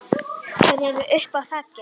Þeir eru uppi á þaki.